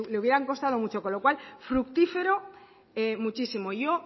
hubiera costado mucho con lo cual fructífero muchísimo yo